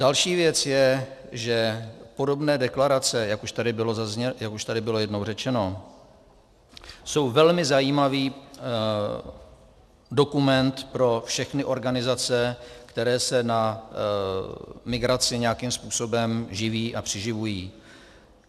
Další věc je, že podobné deklarace, jak už tady bylo jednou řečeno, jsou velmi zajímavý dokument pro všechny organizace, které se na migraci nějakým způsobem živí a přiživují.